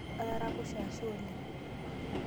Ataraposhe ashe oleng.